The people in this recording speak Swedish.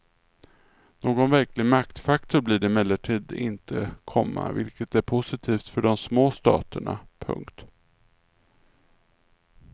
Någon verklig maktfaktor blir det emellertid inte, komma vilket är positivt för de små staterna. punkt